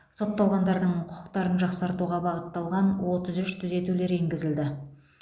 сотталғандардың құқықтарын жақсартуға бағытталған отыз үш түзетулер енгізілді